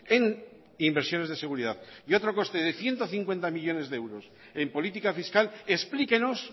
en inversiones de seguridad y otro coste de ciento cincuenta millónes de euros en política fiscal explíquenos